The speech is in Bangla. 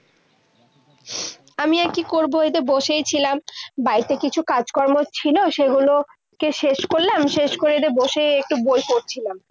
আমি আর কি করবো? এই যে বসেই ছিলাম। বাড়িতে কিছু কাজকর্ম ছিল, সেগুলো কে শেষ করলাম। শেষ করে এই যে বসে একটু বই পড়ছিলাম।